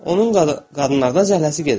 Onun qadınlardan zəhləsi gedirdi.